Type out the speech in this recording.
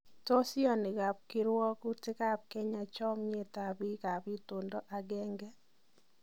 Tos ioni kabkiruwokitab Kenya chomiet ab biik ab intondo ageng'e.